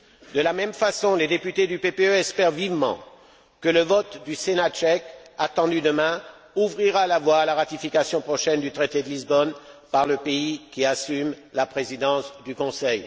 De la même façon, les députés du PPE espèrent vivement que le vote du sénat tchèque, attendu demain, ouvrira la voie à la ratification prochaine du traité de Lisbonne par le pays qui assume la présidence du Conseil.